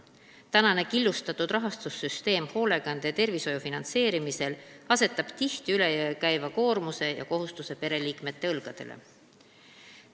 Hoolekande ja tervishoiu killustatud rahastussüsteem asetab tihti üle jõu käiva koormuse ja kohustuse pereliikmete õlgadele.